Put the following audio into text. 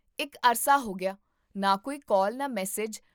ਇੱਕ ਅਰਸਾ ਹੋ ਗਿਆ ਨ ਕੋਈ ਕਾਲ, ਨਾ ਮੈਸੇਜ